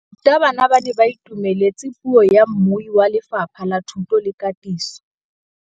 Barutabana ba ne ba itumeletse puô ya mmui wa Lefapha la Thuto le Katiso.